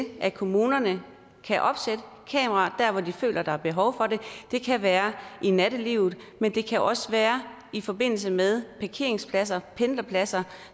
at kommunerne kan opsætte kameraer der hvor de føler der er behov for det det kan være i nattelivet men det kan også være i forbindelse med parkeringspladser og pendlerpladser